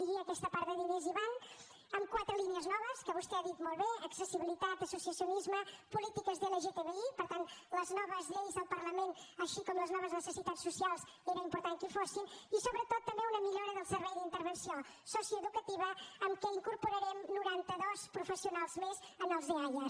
i aquesta part de diners hi van en quatre línies noves que vostè ha dit molt bé accessibilitat associacionisme polítiques de lgtbi per tant les noves lleis al parlament així com les noves necessitats socials era important que hi fossin i sobretot també una millora del servei d’intervenció socioeducativa en què incorporarem noranta dos professionals més en els eaia